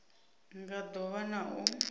nga do vha na u